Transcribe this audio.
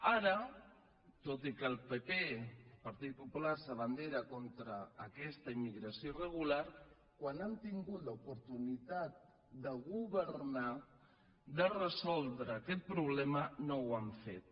ara tot i que el pp partit popular s’abandera contra aquesta immigració irregular quan han tingut l’opor·tunitat de governar de resoldre aquest problema no ho han fet